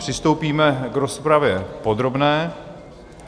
Přistoupíme k rozpravě podrobné.